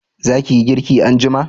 za ki yi girki anjima?